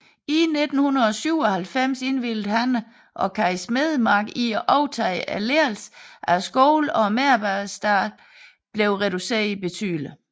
I 1997 indvilligede Hanne og Kaj Smedemark i at overtage ledelsen af skolen og medarbejderstaben blev reduceret betydeligt